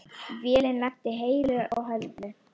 Vélin lenti heilu og höldnu.